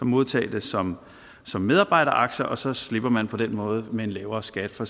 modtage dem som som medarbejderaktier og så slipper man på den måde med en lavere skat for